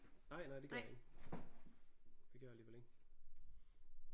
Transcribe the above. Nej nej det gjorde jeg ikke det gjorde jeg alligevel ikke